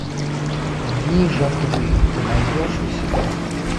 дни жатвы ты найдешь у себя